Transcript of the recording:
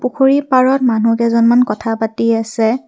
পুখুৰী পাৰত মানুহকেইজনমান কথা পাতি আছে।